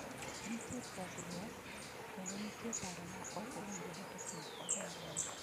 Nitie pogruok, kendo nitie paro ma ok owinjore e kind ogandani.